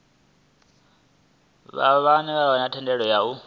vha vha na thendelo ya